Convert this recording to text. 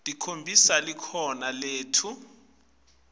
tikhombisa likhono letfu